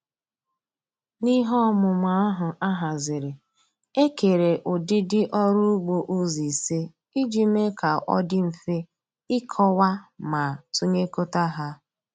N'ihe ọmụmụ ahụ a haziri e kere ụdịdị ọrụ ugbo ụzọ ise iji mee ka ọ dị mfe ịkọwa ma tụnyekọta ha